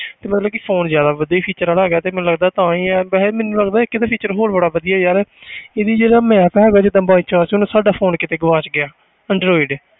ਤੇ ਮਲਤਬ ਕਿ phone ਜ਼ਿਆਦਾ ਵਧੀਆ feature ਵਾਲਾ ਹੈਗਾ ਤੇ ਮੈਨੂੰ ਲੱਗਦਾ ਤਾਂ ਹੀ ਯਾਰ ਵੈਸੇ ਮੈਨੂੰ ਲੱਗਦਾ ਇੱਕ ਇਹਦਾ feature ਹੋਰ ਬੜਾ ਵਧੀਆ ਯਾਰ ਇਹਦੀ ਜਿਹੜਾ map ਹੈਗਾ ਜਿੱਦਾਂ by chance ਹੁਣ ਸਾਡਾ phone ਕਿਤੇ ਗੁਆਚ ਗਿਆ android